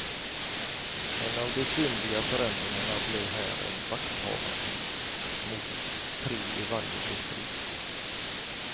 En av de synliga förändringarna blir här en vakthavande mot tre i varje distrikt.